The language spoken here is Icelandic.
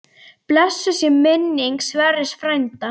Blessuð sé minning Sverris frænda.